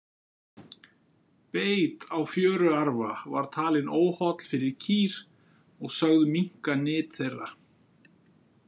Beit á fjöruarfa var talinn óholl fyrir kýr og sögð minnka nyt þeirra.